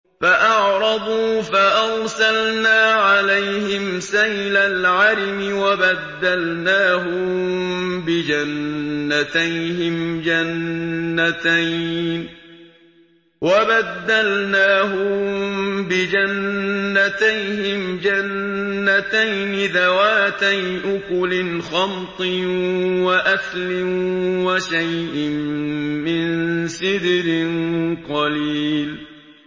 فَأَعْرَضُوا فَأَرْسَلْنَا عَلَيْهِمْ سَيْلَ الْعَرِمِ وَبَدَّلْنَاهُم بِجَنَّتَيْهِمْ جَنَّتَيْنِ ذَوَاتَيْ أُكُلٍ خَمْطٍ وَأَثْلٍ وَشَيْءٍ مِّن سِدْرٍ قَلِيلٍ